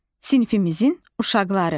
Sinifimizin uşaqları.